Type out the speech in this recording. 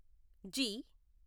G